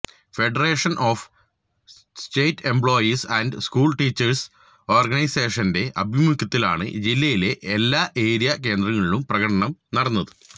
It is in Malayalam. federation of state employees and school teachers ഓര്ഗനൈസേഷന്റെ ആഭിമുഖ്യത്തിലാണ് ജില്ലയിലെ എല്ലാ ഏരിയ കേന്ദ്രങ്ങളിലും പ്രകടനം നടന്നത്